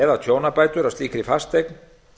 eða tjónabætur af slíkri fasteign